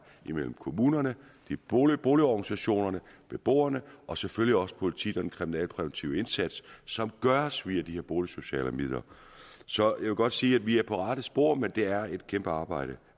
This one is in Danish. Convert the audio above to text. mellem kommunerne boligorganisationerne og beboerne og selvfølgelig også politiet med den kriminalpræventive indsats som gøres via de her boligsociale midler så jeg vil godt sige at vi er på rette spor men det er et kæmpe arbejde